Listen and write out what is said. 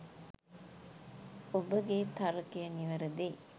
ඔබගේ තර්කය නිවැරදියි.